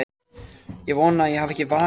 Ég vona ég hafi ekki vakið þig.